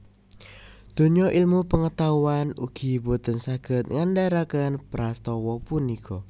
Donya ilmu pengetahuan ugi boten saged ngandharaken prastawa punika